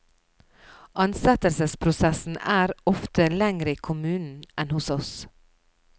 Ansettelsesprosessen er er ofte lengre i kommunen enn hos oss.